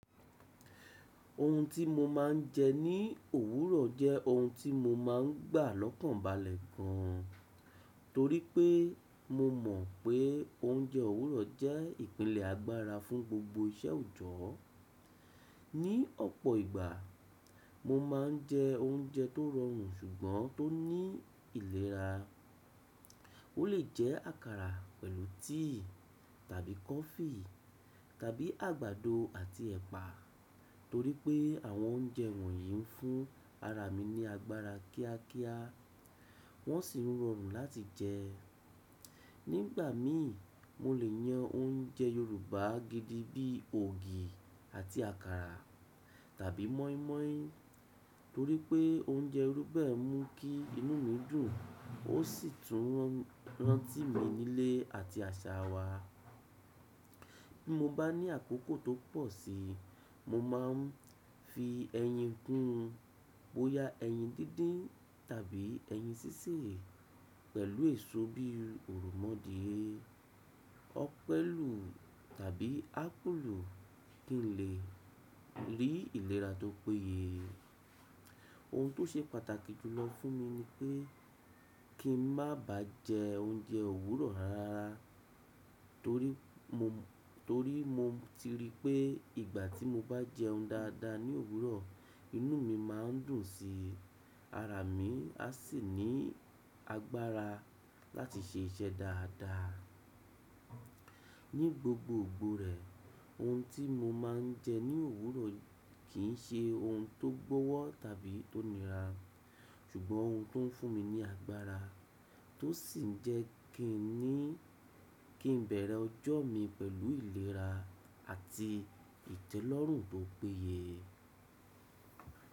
Ohun tí mo máa ń jẹ ní òwúrọ̀ jẹ́ ohun tí mo máa ń gbà lọ́kàn balẹ̀ gan an. Torí pé mo mọ̀ pé oúnjẹ òwúrọ̀ jẹ́ ìpìlẹ̀ agbára fún gbogbo iṣẹ́ òjọ́. Ni ọ̀pọ̀ ìgbà, mo máa ń jẹ oúnjẹ tó rọrùn ṣùgbọ́n tó ní ìlera. Ó lè jẹ́ àkàrà pẹ̀lú tíì tàbí kọfí tàbí àgbàdo àti ẹ̀pà. Torí pé àwọn oúnjẹ wọ̀nyí ń fún ara mi ní agbára kíákíá, wọ́n sì rọrùn láti jẹ. Nígbà mi, mo lè yan oúnjẹ Yorùbá gidi bí ògì àti àkàrà tàbí mọ́ímọ́í torí pé oúnjẹ iru be mú kí inú mi dùn, ó sì tún rántí mi nílé àti àṣà wa. Bí mo bá ní àkókò tó pọ̀ si, mo máa ń fi ẹyin kún, bóyá ẹyin díndín tàbí ẹyin sísè pẹ̀lú èso bí òròmọdìẹ, ọ̀pẹ̀lù tàbí ápùlù kí n lè rí ìlera tó péye. Ohun tó ṣe pàtàkì jùlọ fún mi ni pé kí n má ba jẹ oúnjẹ òwúrọ̀ rárá. Torí mo ti rí pé ìgbà tí mo bá jẹun dáadáa ní òwúrọ̀, inú mi má ń dùn síi, ara mi a sì ní agbára láti ṣe iṣẹ́ dáadáa. Ní gbogbo ìgbọrẹ́, ohun tí mo máa ń jẹ ní òwúrọ̀ kì ń ṣe ohun tó gbọ́wọ́ tàbí tó nira, ṣùgbọ́n ohun tó ń fún mi ní agbára, tó sì ń jẹ́ kini. Kí n bẹ̀rẹ̀ ọjọ́ mi pẹ̀lú ìlera àti ìtẹ́lọ́rùn tó péye.